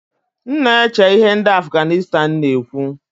M na-eche ihe ndị Afganistan na-ekwu